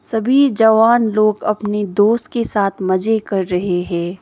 सभी जवान लोग अपने दोस्त के साथ मजे कर रहे है।